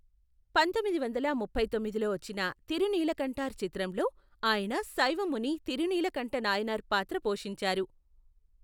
పంతొమ్మిది వందల ముప్పై తొమ్మిదిలో వచ్చిన తిరునీలకంఠార్ చిత్రంలో ఆయన శైవ ముని తిరునీలకంఠ నాయనార్ పాత్ర పోషించారు.